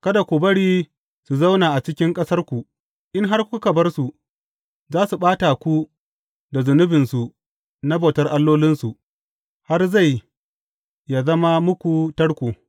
Kada ku bari su zauna a cikin ƙasarku, in har kuka bar su, za su ɓata ku da zunubinsu na bautar allolinsu, har zai yă zama muku tarko.